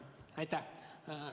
Aitäh!